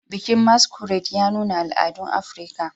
Bikin Masquerade ya nuna al'adun Afirka